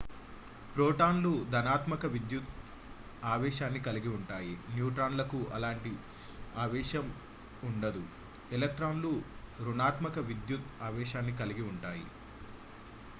ప్రోటాన్లు ధనాత్మక విద్యుత్ ఆవేశాన్ని కలిగి ఉంటాయి న్యూట్రాన్లకు ఎలాంటి ఆవేశం ఉండదు ఎలక్ట్రాన్ లు రుణాత్మక విద్యుత్ ఆవేశాన్ని కలిగి ఉంటాయి